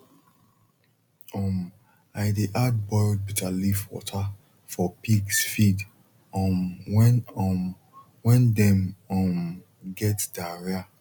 um i dey add boiled bitter leaf water for pigs feed um when um when dem um get diarrhea